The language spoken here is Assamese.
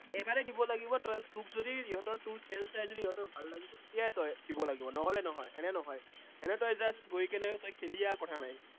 এবাৰেই দিব লাগিব তই, তোক যদি সিহঁতৰ তোৰ খেল চাই যদি সিহঁতৰ ভাল লাগিছে, তেতিয়াহে তই দিব লাগিব, নহলে নহয়। এনে নহয়, এনেই তই just গৈ কিনে তই খেলি আহ কথা নাই